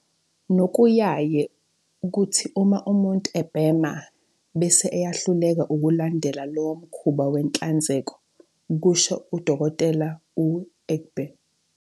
"Nokuyaye kuthi uma umuntu ebhema, bese eyahluleka ukulandela lowo mkhuba wenhlanzeko," kusho u-Dkt. u-Egbe.